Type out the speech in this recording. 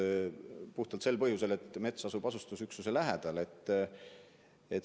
Pole erinõudeid puhtalt sel põhjusel, et mets asub asustusüksuse lähedal.